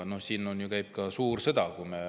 Siin käib ka suur sõda.